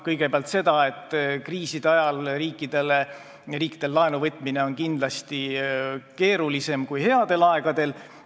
Kõigepealt, kriiside ajal on riikidel kindlasti keerulisem laenu võtta kui headel aegadel.